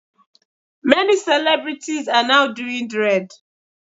Many celebrities are now doing dread.